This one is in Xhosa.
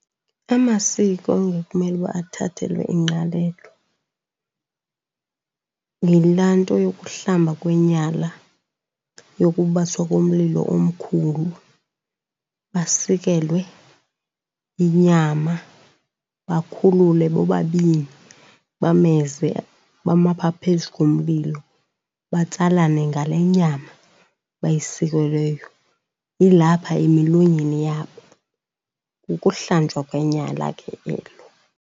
Amasiko angekumele uba athathelwe ingqalelo yilaa nto yokuhlamba kwenyala, yokubaswa komlilo omkhulu, basikelwe inyama, bakhulule bobabini bameze, bame apha phezu komlilo, batsalane ngale nyama bayisikelweyo ilapha emilonyeni yabo. Kukuhlanjwa kwenyala ke elo.